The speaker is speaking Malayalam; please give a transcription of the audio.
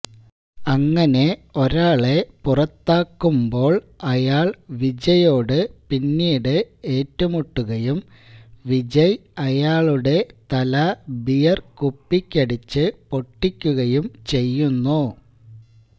അങ്ങനെ ഒരാളെ പുറത്താക്കുന്പോള് അയാള് വിജയോട് പിന്നിട് ഏറ്റുമുട്ടുകയും വിജയ് അയാളുടെ തല ബീയര് കുപ്പിക്കടിച്ച് പൊട്ടിക്കുകയും ചെയ്യുന്നു